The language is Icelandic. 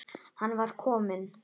Hann var bara kominn.